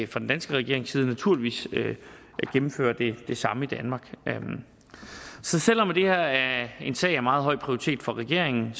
fra den danske regerings side naturligvis gennemføre det samme i danmark så selv om det her er en sag af meget høj prioritet for regeringen